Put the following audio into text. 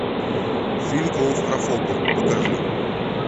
фильм клаустрофобы покажи